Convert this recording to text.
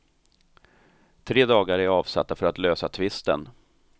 Tre dagar är avsatta för att lösa tvisten.